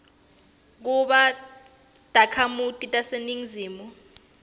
kuba takhamiti taseningizimu